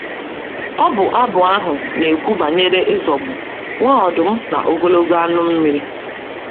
Ọbụ abụ ahụ na - ekwu banyere ịzọgbu “ nwa ọdụm na ogologo anụ mmiri. ”